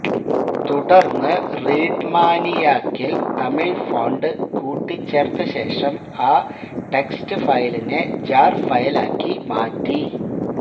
തുടർന്ന് റീഡ്മാനിയാക്കിൽ തമിഴ് ഫോണ്ട് കൂട്ടിച്ചേർത്തശേഷം ആ ടെക്സ്റ്റ് ഫയലിനെ ജാർഫയലാക്കി മാറ്റി